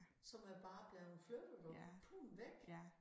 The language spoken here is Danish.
Som er bare blevet flyttet og puh væk